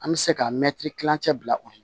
An bɛ se ka mɛtiri kilancɛ bila u kunna